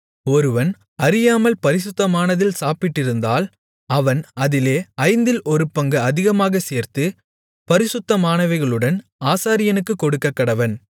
ஒருவன் அறியாமல் பரிசுத்தமானதில் சாப்பிட்டிருந்தால் அவன் அதிலே ஐந்தில் ஒரு பங்கு அதிகமாக சேர்த்து பரிசுத்தமானவைகளுடன் ஆசாரியனுக்குக் கொடுக்கக்கடவன்